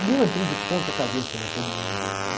E eu entrei de ponta cabeça naquele mundo lá, né?